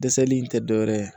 Dɛsɛli in tɛ dɔwɛrɛ ye